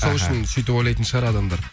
сол үшін сөйтіп ойлайтын шығар адамдар